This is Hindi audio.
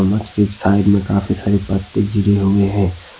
मछ की साइड में काफी सारे पत्ते गिरे हुए हैं।